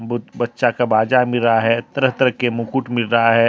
बच्चा का बाजा मिल रहा है तरह-तरह के मुकुट मिल रहा है।